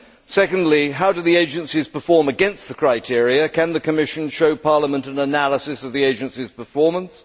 Secondly, how do the agencies perform against the criteria? Can the Commission show Parliament an analysis of the agencies' performance?